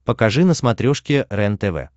покажи на смотрешке рентв